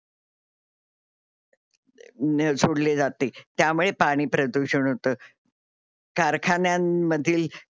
सोडले जाते त्यामुळे पाणी प्रदूषण होत. कारखान्यांनमधील